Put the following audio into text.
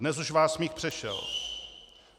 Dnes už vás smích přešel.